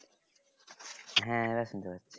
হ্যাঁ এবার শুনতে পাচ্ছি